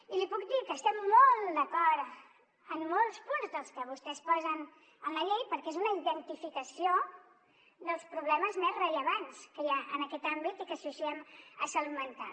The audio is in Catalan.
i li puc dir que estem molt d’acord en molts punts dels que vostès posen en la llei perquè és una identificació dels problemes més rellevants que hi ha en aquest àmbit i que associem a salut mental